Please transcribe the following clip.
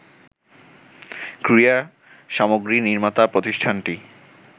ক্রীড়া সামগ্রী নির্মাতা প্রতিষ্ঠানটি